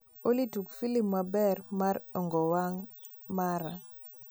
olly tug filim maber mara e ongong wang mara